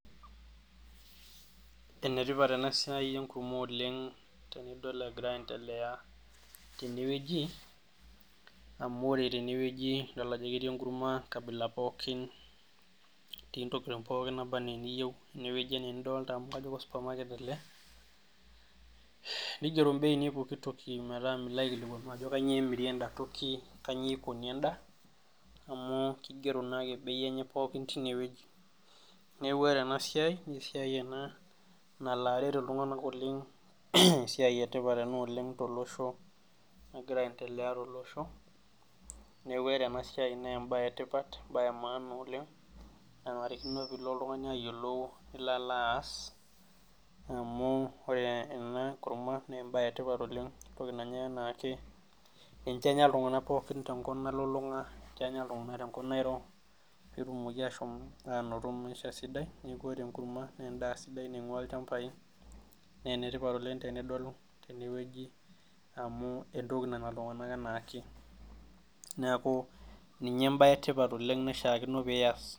Enetipat ena siai enkurma oleng tenidol egiraa aendelea tenewueji amu ore tenewueji idol ajo ketii enkurka enkabila pookin etii intokitin pooki nebanaa eneiyieu enewueji enaa enidolita amu osupamaket ele neigero imbeini pooki toki metaa milo aikilikuanu ajo kanyio. emiri enda toki kanyioo eikoni eenda naa keigiero naake imbeini enye teinewueji neeku ore ena siai eisidai ena nalo aret iltung'anak oleng esiai etipa ena oleng tolosho negiraa aendelea tolosho neeku ore ena siai naa embae etipat embaye emaana oleng nenarikino. peelo oltung'ani ayiolou nilo alo aas amu ore ena kurma naa embaye etipat oleng entoki nanyai enaake ninche enya iltung'anak pookin tenkop nalulung'a ninche enya iltung'anak tenkop Nairo peetumoki aashom aanoto maisha sidai neeku ore enkurma naa endaa sidai naing'ua olchamba naa enetipat oleng tenidol tenewueji inakurma amu entoki nanya iltung'anak enaake neeku ninye embae etipat oleng naishiakino nias.